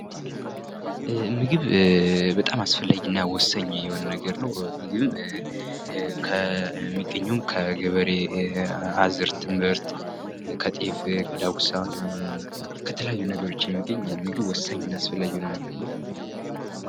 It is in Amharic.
ምግብ ሰውነትን የሚያበረታታ፣ የሚያሳድግና ከበሽታ የሚከላከል የተለያዩ ንጥረ ነገሮችን እንደ ካርቦሃይድሬት፣ ፕሮቲንና ስብ ይዟል